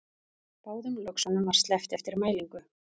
Báðum löxunum var sleppt eftir mælingu